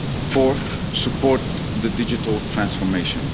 climate resilience. Fourth, support the digital